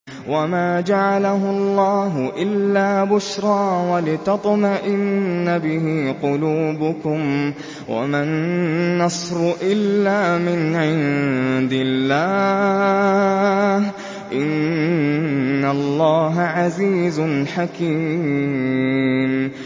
وَمَا جَعَلَهُ اللَّهُ إِلَّا بُشْرَىٰ وَلِتَطْمَئِنَّ بِهِ قُلُوبُكُمْ ۚ وَمَا النَّصْرُ إِلَّا مِنْ عِندِ اللَّهِ ۚ إِنَّ اللَّهَ عَزِيزٌ حَكِيمٌ